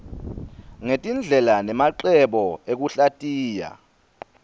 ngetindlela nemacebo ekuhlatiya